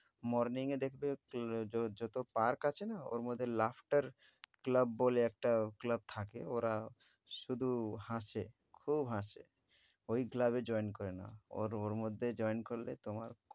morning এ দেখবে ক~ য~ যত park আছে না ওর মধ্য ter club বলে একটা club থাকে ওরা শুধু হাসে খুব হাসে। ঐ club এ join করে নাও। ওর ওর মধ্যে join করলে তোমার